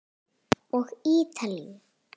Og Ítalíu.